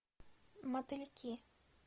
мотыльки